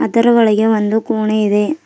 ಇದರ ಒಳಗೆ ಒಂದು ಕೊಣೆ ಇದೆ.